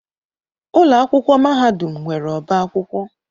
Ụlọ akwụkwọ mahadum nwere ọba akwụkwọ.